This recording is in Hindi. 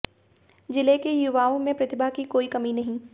जिले के युवाओं में प्रतिभा की कोई कमी नहीं